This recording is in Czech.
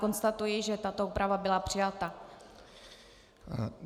Konstatuji, že tato úprava byla přijata.